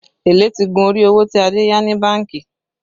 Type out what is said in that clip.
Èlé ti gun orí owó tí Adé yá ní bánkì